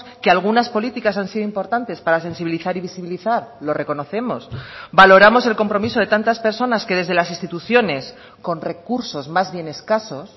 que algunas políticas han sido importantes para sensibilizar y visibilizar lo reconocemos valoramos el compromiso de tantas personas que desde las instituciones con recursos más bien escasos